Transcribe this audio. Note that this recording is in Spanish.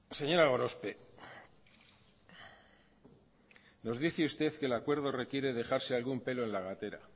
señora gorospe nos dice usted que el acuerdo requiere dejarse algún pelo en la gatera